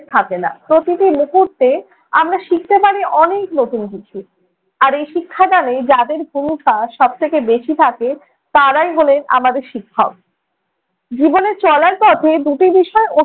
থাকে না। প্রতিটি মুহূর্তে আমরা শিখতে পারি অনেক নতুন কিছু। আর এই শিক্ষাদানে যাদের ভূমিকা সব থেকে বেশি থাকে তারাই হলেন আমাদের শিক্ষক। জীবনে চলার পথে দুটি বিষয়